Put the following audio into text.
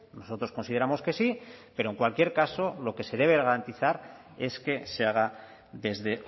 nosotros consideramos que sí pero en cualquier caso lo que se debe garantizar es que se haga desde